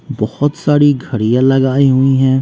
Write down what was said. बहोत सारी घड़ियां लगाई हुईं हैं।